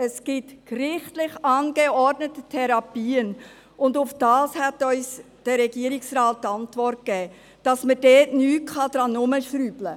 Es gibt gerichtlich angeordnete Therapien, und darauf hat uns der Regierungsrat die Antwort gegeben, dass man daran nichts herumschrauben könne.